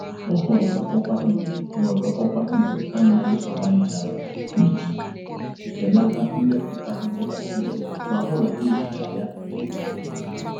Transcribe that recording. Ọ họọrọ ọkwá igwe họọrọ ọkwá igwe anaghị agba nchara iji belata mmepụta nje bacteria ma hụ na ihicha ya dị mfe